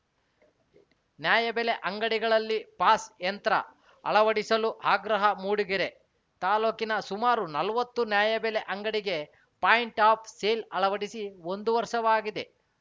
ನ್ಯಾಯಬೆಲೆ ಅಂಗಡಿಗಳಲ್ಲಿ ಪಾಸ್‌ ಯಂತ್ರ ಅಳವಡಿಸಲು ಆಗ್ರಹ ಮೂಡಿಗೆರೆ ತಾಲೂಕಿನ ಸುಮಾರು ನಲವತ್ತು ನ್ಯಾಯಬೆಲೆ ಅಂಗಡಿಗೆ ಪಾಯಿಂಟ್‌ ಆಫ್‌ ಸೇಲ್‌ ಅಳವಡಿಸಿ ಒಂದು ವರ್ಷವಾಗಿದೆ